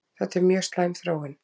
Þetta er mjög slæm þróun